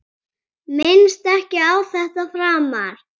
Minnist ekki á þetta framar.